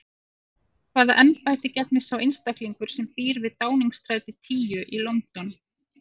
Hvaða embætti gegnir sá einstaklingur sem býr við Downingstræti tíu í London?